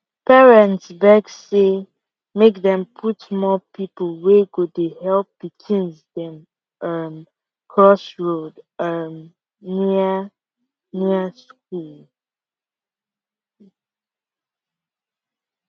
parents beg say make dem put more people wey go dey help pikins them um cross road um near near school